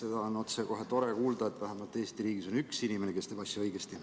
Seda on kohe tore kuulda, et Eesti riigis on vähemalt üks inimene, kes teeb asju õigesti.